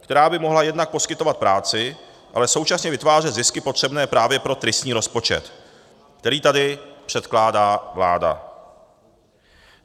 která by mohla jednak poskytovat práci, ale současně vytvářet zisky potřebné právě pro tristní rozpočet, který tady předkládá vláda.